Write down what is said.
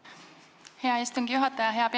Aitäh, hea istungi juhataja!